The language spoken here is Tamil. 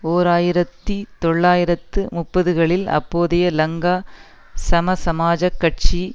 ஓர் ஆயிரத்தி தொள்ளாயிரத்து முப்பதுகளில் அப்போதைய லங்கா சமசமாஜக் கட்சி